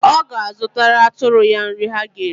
Ọ ga-azụtara atụrụ ya nrị ha ga-eri.